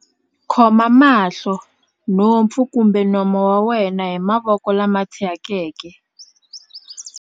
khoma mahlo, nhompfu kumbe nomo wa wena hi mavoko lama thyakeke.